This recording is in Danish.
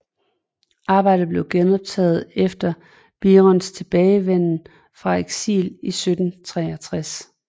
Arbejdet blev genoptaget efter Birons tilbagevenden fra eksil i 1763